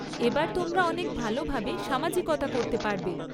এবার তোমরা অনেক ভালোভাবে সামাজিকতা করতে পারবে।